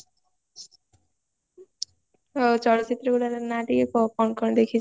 ହଁ ଚଳଚିତ୍ରର ଗୁରାର ନାଁ ଟିକେ କାହା କଣ କଣ ଦେଖିଚୁ